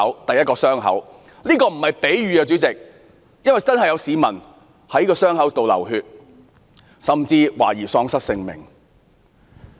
主席，這並非比喻，因為真的有市民受傷流血，甚至喪失性命。